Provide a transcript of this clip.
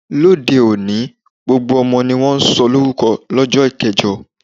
Ní òde - òní, gbogbo ọmọ ni wón ń sọ lórúko lọ́jọ́ kẹjọ.